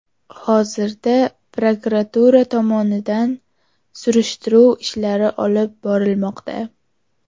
Hozirda prokuratura tomonidan surishtiruv ishlari olib borilmoqda.